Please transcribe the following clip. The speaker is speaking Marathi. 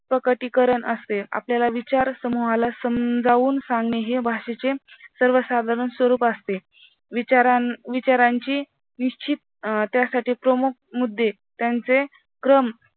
प्रगती करत असते आपल्याला विचार समूहाला समजावून सांगणे हे भाषेचे सर्वसाधारण स्वरूप असते विचारा विचारांची निश्चित अं त्यासाठी प्रमुख मुद्दे त्यांचे क्रम